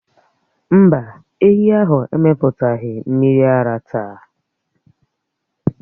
Mbá, ehi ahụ emetụtaghị mmiri ara táá